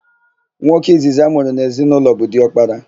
Nwoke izizi amụrụ n'ezinaụlọ bụ diọkpara.